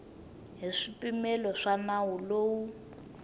hi swipimelo swa nawu lowu